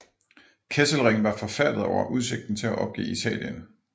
Kesselring var forfærdet over udsigten til at opgive Italien